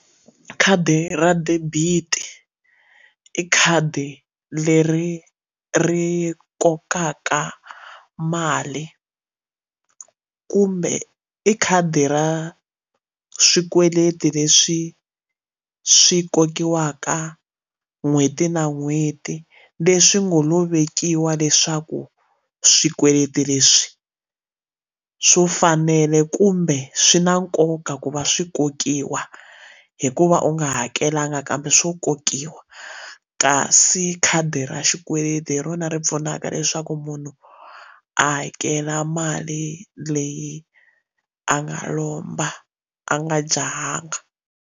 Khadi ra debit i khadi leri ri kokaka mali kumbe i khadi ra swikweleti leswi swi kokiwaka n'hweti na n'hweti leswi ngo lo vekiwa leswaku swikweleti leswi swo fanele kumbe swi na nkoka ku va swi kokiwa hikuva u nga hakelanga kambe swo kokiwa kasi khadi ra xikweleti hi rona ri pfunaka leswaku munhu a hakela mali leyi a nga lomba a nga jahanga.